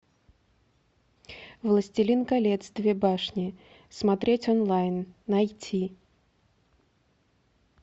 властелин колец две башни смотреть онлайн найти